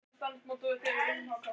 Hitinn lagði marga að velli